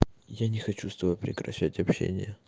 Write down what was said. я не хочу с тобой прекращать общение